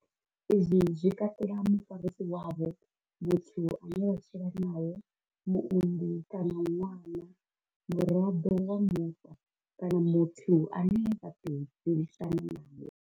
Izwi zwi katela mufarisi wavho, muthu ane vha tshila nae, muunḓi kana ṅwana, muraḓo wa muṱa kana muthu ane vha tou dzulisana nae.